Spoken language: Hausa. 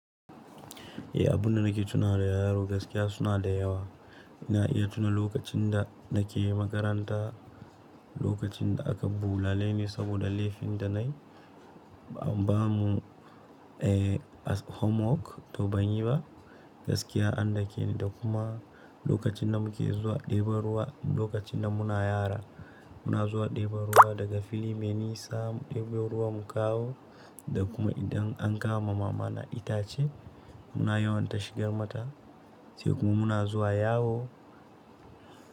Eh, abunda nake tuna da yaro gaskiya suna da yawa. Ina iya tuna lokacin da nake yi makaranta, lokacin da aka bulale ni sabode laifi da nayi, an bamu homework toh banyi ba gaskiya an dakeni da kuma lokacin da muke zuwa ɗeban ruwa, lokacin da muna yara muna zuwa ɗebo ruwa daga fili mai nisa, ɗebo ruwan mu kawo da kuma idan an kawo ma mama na itace muna yawan ta shigar mata, sai kuma muna zuwa yawo.